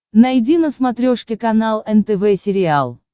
найди на смотрешке канал нтв сериал